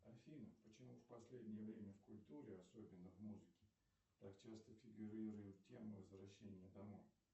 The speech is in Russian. афина почему в последнее время в культуре особенно в музыке так часто фигурирует тема возвращения домой